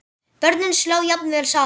Börnin slá jafnvel saman.